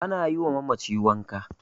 ana yiwa mamaci wanka